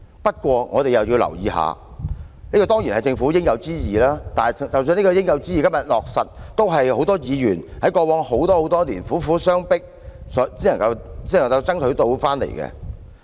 不過，我們亦要留意，這些當然是政府應有之義，即使這些應有之義在今天得以落實，也是很多議員在過去多年來苦苦相迫才爭取到的結果。